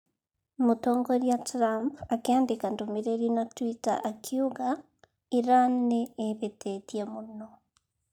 Mũtongoria Trump akĩandĩka ndũmĩrĩri na twitter akiuga:Iran nĩ ĩhĩtĩtie mũno.